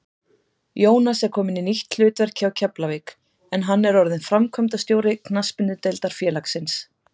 Jónas er kominn í nýtt hlutverk hjá Keflavík en hann er orðinn framkvæmdastjóri knattspyrnudeildar félagsins.